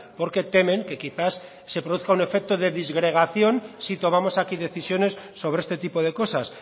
porque temen que quizás se produzca un efecto de disgregación si tomamos aquí decisiones sobre este tipo de cosas